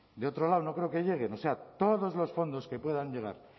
de otro lado no creo que lleguen o sea todos los fondos que puedan llegar